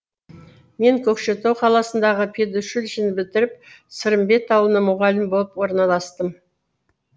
мен көкшетау қаласындағы педучилищені бітіріп сырымбет ауылы мұғалім боп орналастым